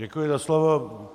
Děkuji za slovo.